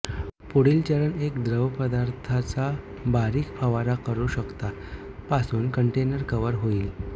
पुढील चरण एक द्रवपदार्थाचा बारिक फवारा करू शकता पासून कंटेनर कव्हर होईल